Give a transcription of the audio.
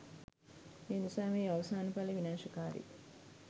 ඒනිසා මෙහි අවසාන ඵලය විනාෂ කාරී